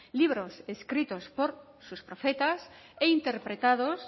libros escritos por sus profetas e interpretados